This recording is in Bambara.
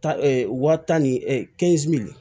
Ta wa tan ni